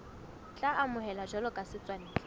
tla amohelwa jwalo ka setswantle